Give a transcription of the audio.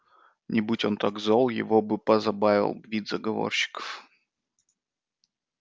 не будь он так зол его бы позабавил вид заговорщиков